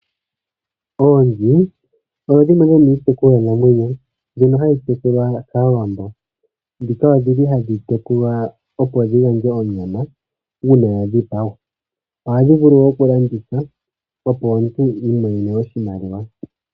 Oonzi odho dhimwe dhomiitekulwa namwenyo mbyono hayi tekulwa kaawambo. Ndhika odhi li hadhi tekulwa opo dhigandje onyama, uuna dha dhipagwa. Ohadhi vulu wo okulandithwa, opo omuntu iimonene oshimaliwa.